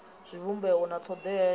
zwivhumbeo na thodea ya u